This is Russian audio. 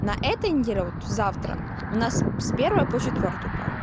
на этой неделе вот завтра у нас с с первой по четвертую пару